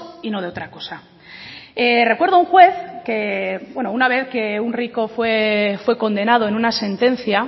y no de otra cosa recuerdo a un juez que bueno que una vez un rico fue condenado en una sentencia